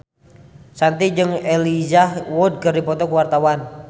Shanti jeung Elijah Wood keur dipoto ku wartawan